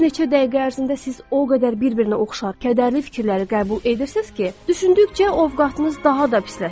Bir neçə dəqiqə ərzində siz o qədər bir-birinə oxşar kədərli fikirləri qəbul edirsiz ki, düşündükcə ovqatınız daha da pisləşir.